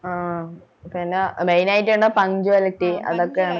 M ഏർ പിന്ന main ആയിട്ട് വന്ന punctuality അതൊക്ക